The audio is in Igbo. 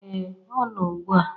ee ọ no ugbu a